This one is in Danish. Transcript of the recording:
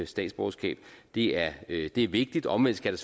statsborgerskab det er vigtigt vigtigt omvendt skal